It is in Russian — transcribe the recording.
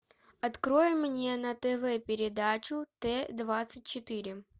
открой мне на тв передачу т двадцать четыре